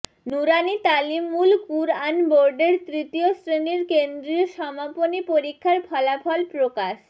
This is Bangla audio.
নূরানী তালিমুল কুরআন বোর্ডের তৃতীয় শ্রেণির কেন্দ্রীয় সমাপনী পরীক্ষার ফলাফল প্রকাশ